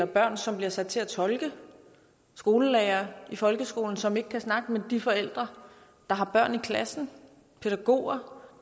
børn som bliver sat til at tolke skolelærere i folkeskolen som ikke kan snakke med de forældre der har børn i klassen pædagoger